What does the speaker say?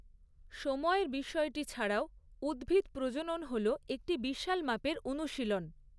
সময়ের বিষয়টি ছাড়াও, উদ্ভিদ প্রজনন হল একটি বিশাল মাপের অনুশীলন।